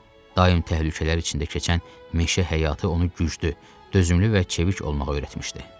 Daim təhlükələr içində keçən meşə həyatı onu güclü, dözümlü və çevik olmağa öyrətmişdi.